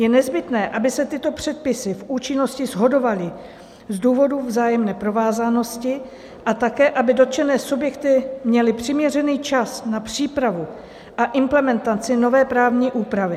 Je nezbytné, aby se tyto předpisy v účinnosti shodovaly z důvodu vzájemné provázanosti a také aby dotčené subjekty měly přiměřený čas na přípravu a implementaci nové právní úpravy.